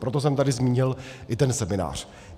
Proto jsem tady zmínil i ten seminář.